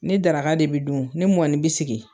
Ni daraka de bɛ dun, ni mɔni bɛ sigi.